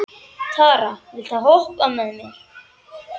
Tara, viltu hoppa með mér?